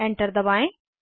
enter दबाएं